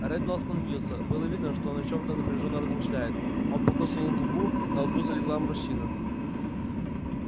реддл остановился было видно что он о чём-то напряжённо размышляет он покусывал губу на лбу залегла морщина